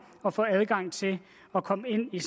at få adgang til at komme ind i